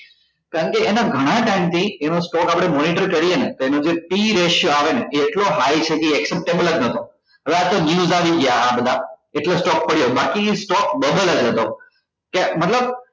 કારણ કે એના ગણા time થી એનો stock આપડે monitor કરીએ ને તો એનો જે આવે ને એ એટલો high છે કે acceptable જ નઠો ન્હ્વે આતો news આવી ગયા આ બધા એટલે stock પડ્યો બાકી stock double જ હતો કે મતલબ